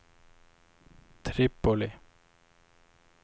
Tripoli